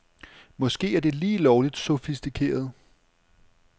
Måske er det lige lovligt sofistikeret.